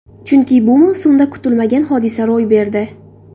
Chunki bu mavsumda kutilmagan hodisa ro‘y berdi.